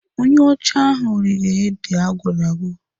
Onye ọcha ahụ rige ede agwọrọ agwọ..